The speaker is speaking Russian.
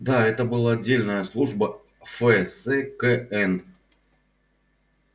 да это была отдельная служба ф с к н